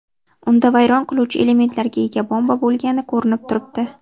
Unda vayron qiluvchi elementlarga ega bomba bo‘lgani ko‘rinib turibdi.